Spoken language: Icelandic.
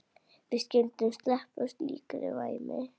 Við skyldum sleppa slíkri væmni.